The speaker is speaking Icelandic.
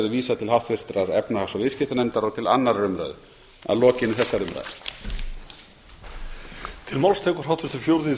vísað til háttvirtrar efnahags og viðskiptanefndar og til annarrar umræðu að lokinni þessari umræðu